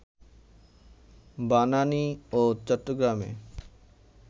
বানানী ও চট্টগ্রামের